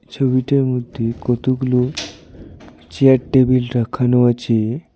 ছবিটার মধ্যে কতগুলো চেয়ার টেবিল রাখানো আছে।